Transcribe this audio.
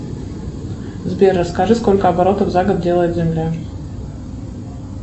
сбер расскажи сколько оборотов за год делает земля